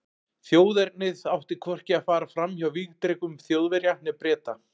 Þjóðernið átti hvorki að fara fram hjá vígdrekum Þjóðverja né Breta.